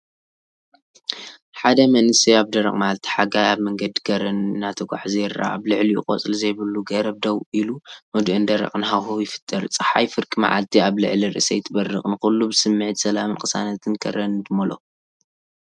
ሓደ መንእሰይ ኣብ ደረቕ መዓልቲ ሓጋይ ኣብ መንገዲ ከረን እናተጓዕዘ ይርአ። ኣብ ልዕሊኡ ቆጽሊ ዘይብሉ ገረብ ደው ኢሉ ህዱእን ደረቕን ሃዋህው ይፈጥር። ጸሓይ ፍርቂ መዓልቲ ኣብ ልዕሊ ርእሰይ ትበርቕ፣ ንኹሉ ብስምዒት ሰላምን ቅሳነት ከረንን ትመልኦ።